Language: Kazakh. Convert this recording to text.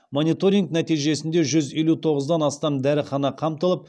мониторинг нәтижесінде жүз елу тоғыздан астам дәріхана қамтылып